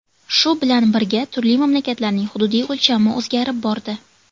Shu bilan birga, turli mamlakatlarning hududiy o‘lchami o‘zgarib bordi.